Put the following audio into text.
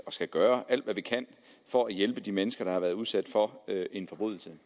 skal gøre alt hvad vi kan for at hjælpe de mennesker der har været udsat for en forbrydelse